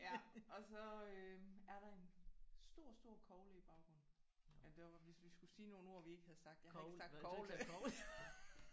Ja og så øh er der en stor stor kogle i baggrunden. Jamen det var hvis vi skulle sige nogle ord vi ikke havde sagt jeg har ikke sagt kogle